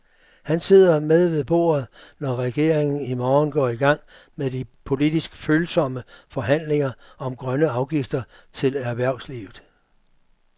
Han sidder med ved bordet, når regeringen i morgen går i gang med de politisk følsomme forhandlinger om grønne afgifter til erhvervslivet.